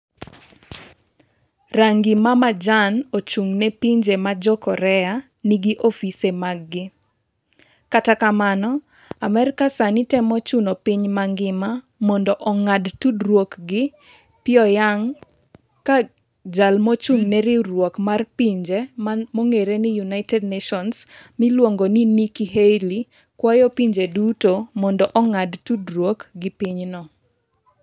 Rangi mamajan ochung'ne pinje ma jo Korea nigi ofise maggi Kata kamano, Amerka sani temo chuno piny mangima mondo ong'ad tudruok gi Pyongyang, ka jal mochung'ne Riwruok mar Pinje (United Nations) miluongo ni Nikki Haley, kwayo pinje duto mondo ong'ad tudruok gi pinyno.